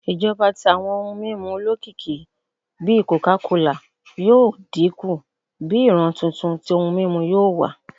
Ijọba ti awọn ohun mimu olokiki bi coca cola yoo dinku bi iran tuntun ti ohun mimu yoo wa